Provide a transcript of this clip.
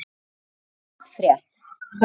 Tengd frétt